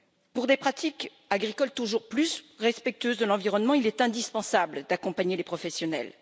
Pour des pratiques agricoles toujours plus respectueuses de l'environnement, il est indispensable d'accompagner les professionnels.